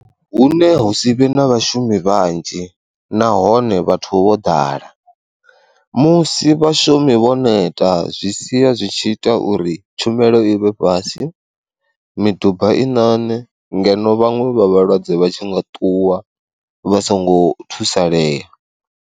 Hune hu si vhe na vhashumi vhanzhi nahone vhathu vho ḓala, musi vhashumi vho neta zwi sia zwi tshi ita uri tshumelo i vhe fhasi, miduba i nane ngeno vhaṅwe vha vhalwadze vha tshi nga ṱuwa vha songo thusalea.